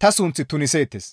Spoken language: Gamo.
ta sunth tuniseettes.